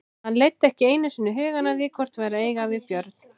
Hann leiddi ekki einu sinni hugann að því hvort vert væri að eiga við Björn.